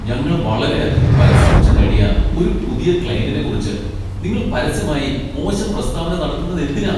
ഞങ്ങൾ വളരെയധികം പരിശ്രമിച്ച് നേടിയ ഒരു പുതിയ ക്ലയന്റിനെക്കുറിച്ച് നിങ്ങൾ പരസ്യമായി മോശം പ്രസ്താവന നടത്തുന്നതെന്തിനാ?